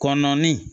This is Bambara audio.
Kɔnɔnin